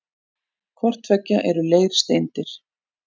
Hvort tveggja eru leirsteindir.